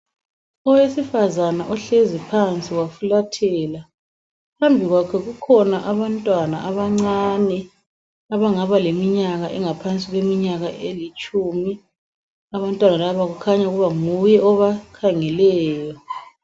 Owesifazana ohlezi phansi wafulathela, phambi kwakhe kukhona abantwana abancane abangaba leminyaka engaphansi kweminyaka elitshumi. Abantwana laba kukhanya ukuba nguye obakhangeleyo.